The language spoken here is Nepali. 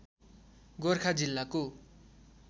गोरखा जिल्लाको